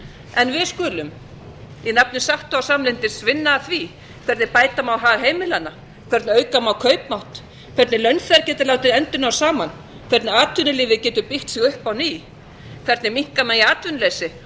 en við skulum í nafni sátta og samlyndis vinna að því hvernig bæta má hagheimilanna hvernig auka má kaupmátt hvernig launþegar geta látið enda ná saman hvernig atvinnulífið getur byggt sig upp á ný hvernig minnka megi atvinnuleysi